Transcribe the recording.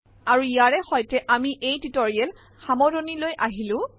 আৰু ইয়াৰে সৈতে আমি এই টিউটৰিয়েল সামৰিনলৈ আহিলো